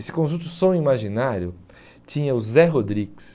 Esse conjunto Som Imaginário tinha o Zé Rodrigues.